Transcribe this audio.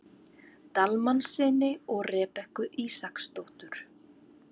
Dalmannssyni og Rebekku Ísaksdóttur.